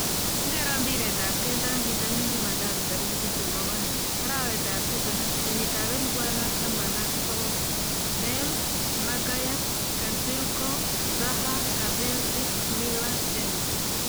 Ngero mbiret ab keldo eng bitonin jumatatu tarik tiptem ak oeng ,arawetab tisab ,kenyitab elebu oeng ak taman ak sokol :Bale ,Maguire, Koscielny, Zaha, Asensio, Miller, James